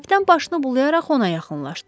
Kapitan başını bulayaraq ona yaxınlaşdı.